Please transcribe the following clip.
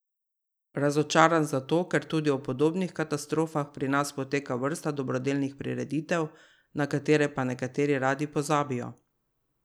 Razočaran zato, ker tudi ob podobnih katastrofah pri nas poteka vrsta dobrodelnih prireditev, na katere pa nekateri radi pozabijo.